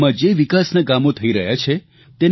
ગામમાં જે વિકાસના કામો થઇ રહ્યા છે